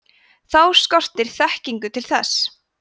þá skortir þekkingu til þess